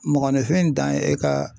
Mɔgɔninfin dan ye e ka